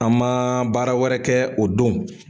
An ma baara wɛrɛ kɛ o don.